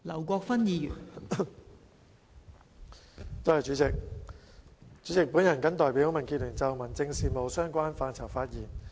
代理主席，我謹代表民主建港協進聯盟就民政事務的相關範疇發言。